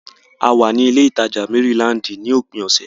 A wà ní ilé ìtajà Mérílaǹdì ní òpin ọ̀sẹ̀.